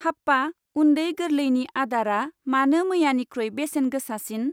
हाप्पा उन्दै गोरलैनि आदारआ मानो मैयानिख्रुइ बेसेन गोसासिन?